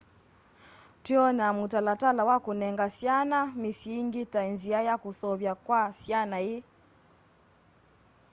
twiona mutalatala wa kunenga syana misyi ingi ta nzia ya usuvio kwa syana ii